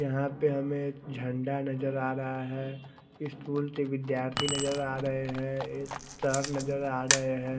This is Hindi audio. यहा पे हमे एक झंडा नजर आ रहा है स्कूल के विद्याथी नजर आ रहे है एक सर नजर आ रहे है।